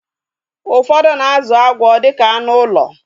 Ụfọdụ na-azụ agwọ dịka anụ ụlọ